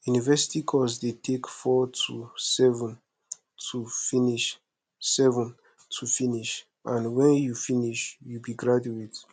university course de take four to seven to finish seven to finish and when you finish you be graduate